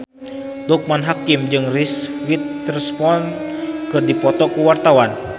Loekman Hakim jeung Reese Witherspoon keur dipoto ku wartawan